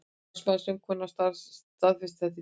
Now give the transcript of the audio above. Talsmaður söngkonunnar staðfesti þetta í dag